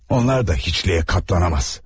Onlar da heçliyə qaplana bilməz.